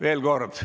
Veel kord.